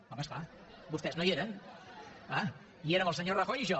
home és clar vostès no hi eren clar hi érem el senyor rajoy i jo